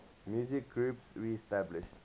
musical groups reestablished